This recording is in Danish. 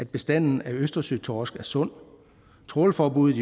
bestanden af østersøtorsk er sund trawlforbuddet